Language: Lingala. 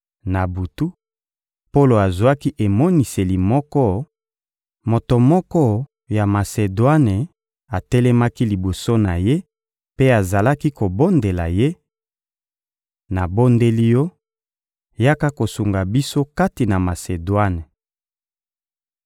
Na butu, Polo azwaki emoniseli moko: «Moto moko ya Masedwane atelemaki liboso na ye mpe azalaki kobondela ye: ‹Nabondeli yo, yaka kosunga biso kati na Masedwane!›»